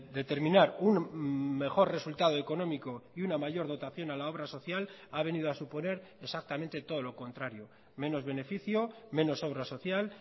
determinar un mejor resultado económico y una mayor dotación a la obra social ha venido a suponer exactamente todo lo contrario menos beneficio menos obra social